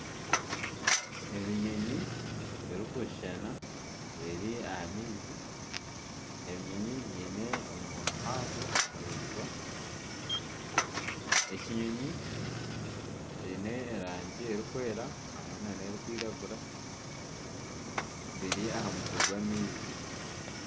Ebinyonyi birikushushana biri aha maizi ebinyonyi ebi biine omunywa muhango, ekinyonyi kiine erangi erikwera hamwe nana erikwiragura biri aha mutwe gw'amaizi